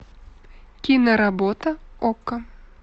киноработа окко